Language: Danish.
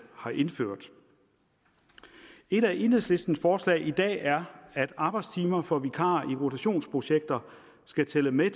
har indført et af enhedslistens forslag i dag er at arbejdstimer for vikarer i rotationsprojekter skal tælle med i